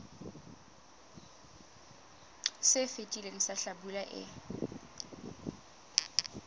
se fetileng sa hlabula e